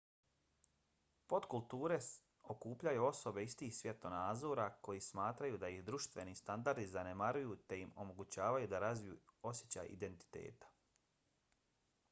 potkulture okupljaju osobe istih svjetonazora koji smatraju da ih društveni standardi zanemaruju te im omogućavaju da razviju osjećaj identiteta